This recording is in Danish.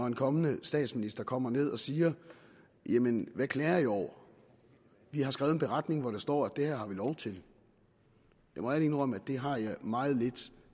en kommende statsminister kommer ned og siger jamen hvad klager i over vi har skrevet en beretning hvor der står at det her har vi lov til jeg må ærligt indrømme at det har jeg meget lidt